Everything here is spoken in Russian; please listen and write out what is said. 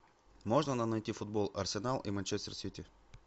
можно нам найти футбол арсенал и манчестер сити